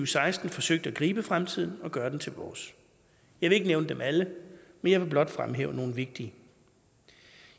seksten forsøgt at gribe fremtiden og gøre den til vores jeg vil ikke nævne dem alle men blot fremhæve nogle vigtige